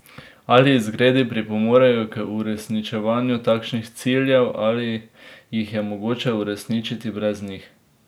Ali izgredi pripomorejo k uresničevanju takih ciljev ali jih je mogoče uresničiti brez njih?